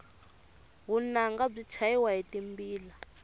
vunanga byi chayiwa hi timbila